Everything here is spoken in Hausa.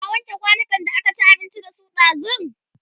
ta wanke kwanukan da aka ci abinci da su ɗazun?